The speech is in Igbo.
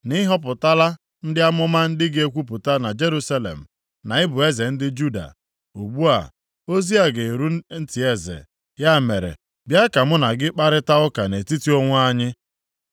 na ị họpụtala ndị amụma ndị ga-ekwupụta na Jerusalem na ị bụ eze ndị Juda. Ugbu a, ozi a ga-eru ntị eze, ya mere, bịa ka mụ na gị kparịtaa ụka nʼetiti onwe anyị.”